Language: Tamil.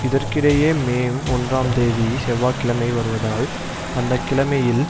இதற்கிடையே மே ஒன்றாம் தேதி செவ்வாய்கிழமை வருவதால் அந்த கிழமையில்